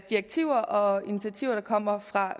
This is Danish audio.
direktiver og initiativer der kommer fra